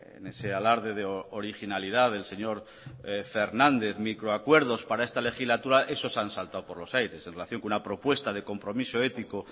en ese alarde de originalidad del señor fernández microacuerdos para esta legislatura esos han saltado por los aires en relación con una propuesta de compromiso ético